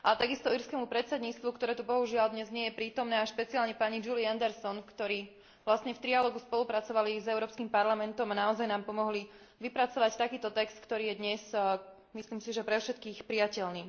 Takisto írskemu predsedníctvu, ktoré tu bohužiaľ dnes nie je prítomné, a špeciálne pani Julii Andersonovej, ktorí v trialógu spolupracovali s Európskym parlamentom a naozaj nám pomohli vypracovať takýto text, ktorý je dnes, myslím si, pre všetkých prijateľný.